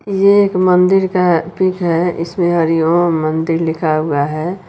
ये एक मंदिर का पिक है इसमें हरी ओम मंदिर लिखा हुआ है।